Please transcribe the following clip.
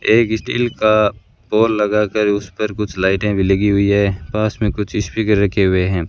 एक स्टील का पोल लगाकर उस पर कुछ लाइटे भी लगी हुई है पास में कुछ स्पीकर रखे हुए हैं।